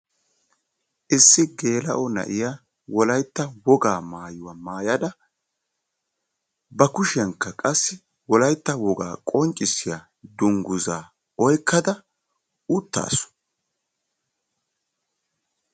Issi geela'o na'iya wolaytta wogaa maayuwa maayada ba kushiyankka qassi wolaytta wogaa dangguzzaa oyqqada utaasu.